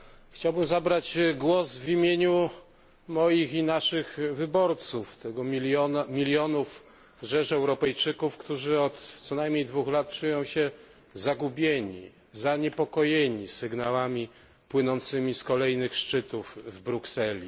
Chciałbym zabrać głos w imieniu moich i naszych wyborców, tej rzeszy milionów Europejczyków, którzy od co najmniej dwóch lat czują się zagubieni, zaniepokojeni sygnałami płynącymi z kolejnych szczytów z Brukseli.